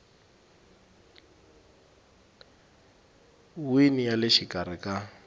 wini ya le xikarhi ka